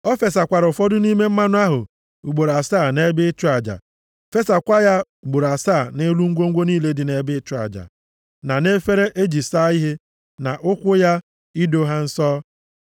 Ọ fesakwara ụfọdụ nʼime mmanụ ahụ ugboro asaa nʼebe ịchụ aja, fesakwa ya ugboro asaa nʼelu ngwongwo niile dị nʼebe ịchụ aja, na nʼefere e ji asa ihe, na ụkwụ ya, ido ha nsọ.